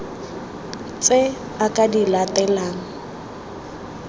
tse a ka di latelang